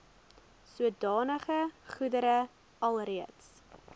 sodanige goedere alreeds